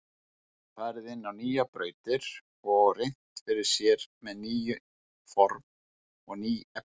Farið inn á nýjar brautir og reynt fyrir sér með ný form og ný efni.